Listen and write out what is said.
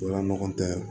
O la ɲɔgɔn tɛ